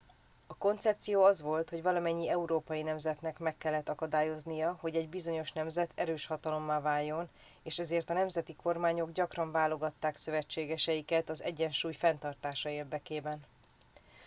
a koncepció az volt hogy valamennyi európai nemzetnek meg kellett akadályoznia hogy egy bizonyos nemzet erős hatalommá váljon és ezért a nemzeti kormányok gyakran váltogatták szövetségeiket az egyensúly fenntartása érdekében